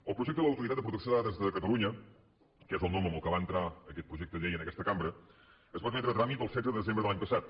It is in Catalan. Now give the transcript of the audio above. el projecte de l’autoritat de protecció de dades de catalunya que és el nom amb què va entrar aquest projecte de llei en aquesta cambra es va admetre a tràmit el setze de desembre de l’any passat